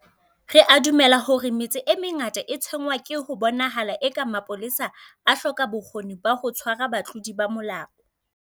Re a dumela hore metse e mengata e tshwenngwa ke ho bonahalang eka mapolesa a hloka bokgoni ba ho tshwara batlodi ba molao.